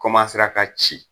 ka ci.